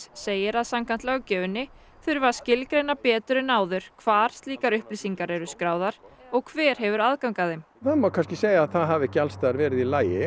segir að samkvæmt löggjöfinni þurfi að skilgreina betur en áður hvar slíkar upplýsingar eru skráðar og hver hefur aðgang að þeim það má kannski segja það það hafi ekki allstaðar verið í lagi